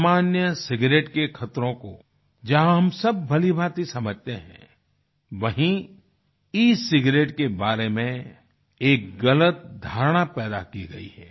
सामान्य सिगारेट के खतरों को जहाँ हम सब भलीभांति समझते हैं वहीं ई सिगारेट के बारे में एक गलत धारणा पैदा की गई है